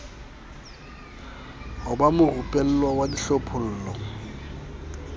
ho ba morupellwa wa hlophollo